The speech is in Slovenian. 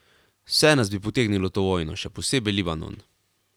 Vse nas bi potegnilo v to vojno, še posebej Libanon.